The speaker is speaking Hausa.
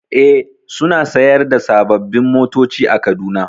E, suna sayar da sababbin motoci a Kaduna.